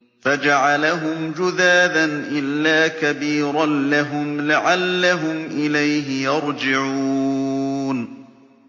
فَجَعَلَهُمْ جُذَاذًا إِلَّا كَبِيرًا لَّهُمْ لَعَلَّهُمْ إِلَيْهِ يَرْجِعُونَ